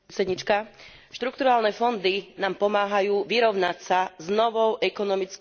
Štrukturálne fondy nám pomáhajú vyrovnať sa s novou ekonomickou realitou.